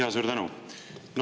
Jaa, suur tänu!